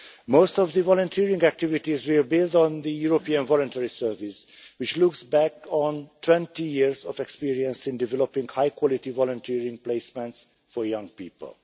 Most of the volunteering activities will build on the European Voluntary Service, which looks back on 20 years of experience in developing high quality volunteering placements for young people.